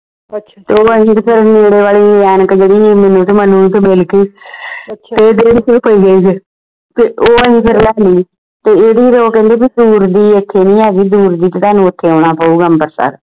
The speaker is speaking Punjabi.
ਨੇੜੇ ਵਾਲੀ ਐਨਕ ਜਿਹੜੀ ਮੈਨੂੰ ਤੇ ਮਨੁ ਨੂੰ ਤੇ ਮਿਲਗੀ ਤੇ ਉਹ ਅਸੀਂ ਫੇਰ ਰੱਖ ਲਈ ਤੇ ਇਹਦੇ ਤੇ ਉਹ ਕਹਿੰਦੇ ਕਿ ਦੂਰ ਦੀ ਐਥੇ ਨਹੀਂ ਹੈਗੀ ਦੂਰ ਦੀ ਤੇ ਤੁਹਾਨੂੰ ਓਥੇ ਆਉਣਾ ਪਊਗਾ ਅੰਬਰਸਰ